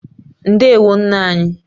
Ndewo nna anyị